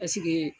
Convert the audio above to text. Paseke